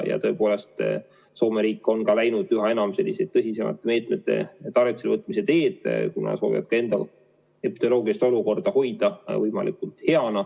Ja tõepoolest, Soome riik on läinud üha enam tõsisemate meetmete tarvitusele võtmise teed, kuna nad soovivad enda epidemioloogilise olukorra hoida võimalikult hea.